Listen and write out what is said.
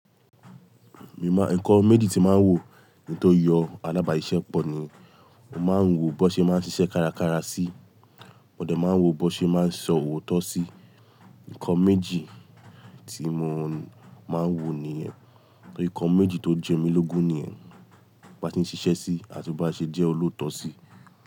Mi máa, ǹkan méjì tí máa ń wò kín tó yan alábàáṣiṣẹ́pọ̀ ni, mo máa ń wo bó ṣe máa ń ṣiṣẹ́ kárakára sí, mo dẹ̀ máa ń wo bó ṣe máa ń sọ òótọ́ sí. Ǹkan méjì tí mo máa ń wò niyen, ǹkan méjì tó ń jẹ mí lógun niyen, bo bá se ń ṣiṣẹ́ sí àti bo bá ṣe jẹ́ olóòótọ́ sí.